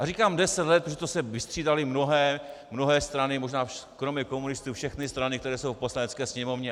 A říkám deset let, protože to se vystřídaly mnohé strany, možná kromě komunistů všechny strany, které jsou v Poslanecké sněmovně.